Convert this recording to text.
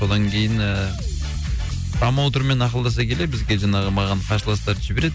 содан кейін ііі промоутермен ақылдаса келе бізде жаңағы маған қарсыластарды жібереді